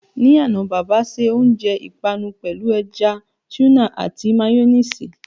Ní àná, bàbà se oúnjẹ ìpanu pẹ̀lú ẹja túnà àti méyọ́néèsì.